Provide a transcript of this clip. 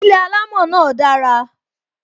Ilé alamo náà dara